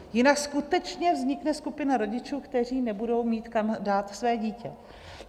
Jinak skutečně vznikne skupina rodičů, kteří nebudou mít kam dát své dítě.